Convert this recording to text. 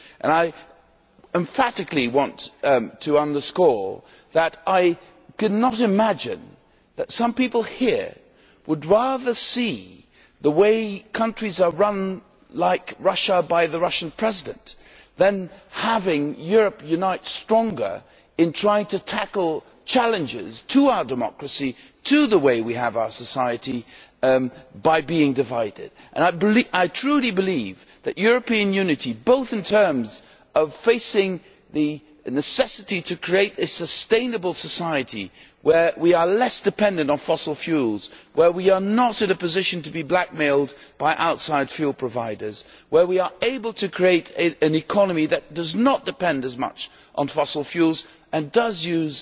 I emphatically want to underscore that I cannot imagine that some people here, by being divided, would rather see the way countries are run like Russia by the Russian President than having Europe unite stronger in trying to tackle challenges to our democracy, to the way we have our society. I truly believe that European unity, both in terms of facing the necessity to create a sustainable society, where we are less dependent on fossil fuels, where we are not in a position to be blackmailed by outside fuel providers, where we are able to create an economy that does not depend as much on fossil fuels and does use